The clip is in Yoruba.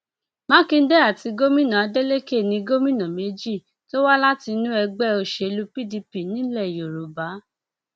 mákindé àti gómìnà adeleke ní gómìnà méjì tó wá láti inú ẹgbẹ òsèlú pdp nílẹ yorùbá